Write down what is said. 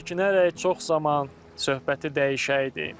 Çəkinərək çox zaman söhbəti dəyişəydin.